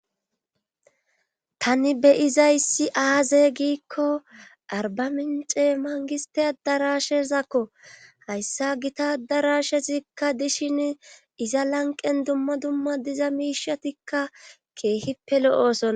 tani beyizayssi aaze giikko arba mince mangiste adarashezakko hayssa gita darashezikka dishin iza lanqen dumma dumma diza miishatikka keehippe lo7oosona